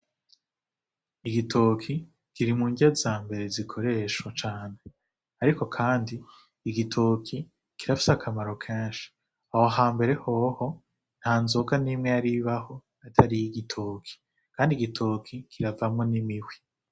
Igitoke kiri murya zambere zikoreshwa cane, ariko kandi igitoke karafise akamaro kenshi, aho hambere hoho nta nzoga nimwe yaribaho itari iyi gitoke, kandi igitoke kiravamwo n'imihwi.